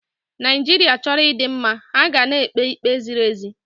Naijiria chọrọ ịdị mma, ha ga na-ekpe ikpe ziri ezi.